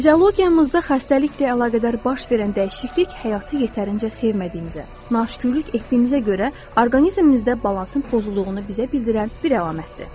Fiziologiyamızda xəstəliklə əlaqədar baş verən dəyişiklik həyatı yetərincə sevmədiyimizə, naşükürlük etdiyimizə görə orqanizmimizdə balansın pozulduğunu bizə bildirən bir əlamətdir.